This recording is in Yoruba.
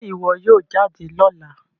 Ṣe iwọ yoo jade lọla?